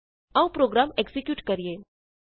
ਆਉ program execute ਕਰੀਏ